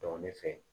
ne fɛ yen